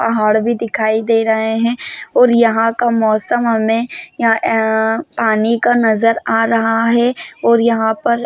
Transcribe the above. पहाड़ भी दिखाई दे रहे है और यहाँ का मौसम हमे यहां अ पानी का नज़र आ रहा है और यहाँ पर--